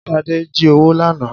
Sade jí owó lànà